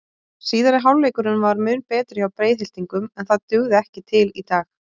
Síðari hálfleikurinn var mun betri hjá Breiðhyltingum en það dugði ekki til í dag.